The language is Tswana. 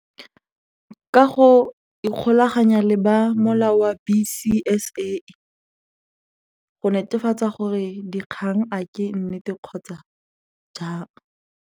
Ka go ikgolaganya le ba molao wa B_C_S_A go netefatsa gore dikgang a ke nnete kgotsa jang.